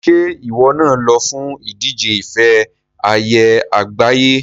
Ṣé ìwọ náà lọ fún ìdíje ife ẹyẹ àgbáyé?